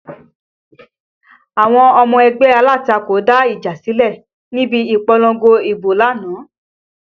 Àwọn ọmọ ẹgbẹ́ alátakò dá ìjà sílẹ̀ níbi ìpolongo ibo lánàá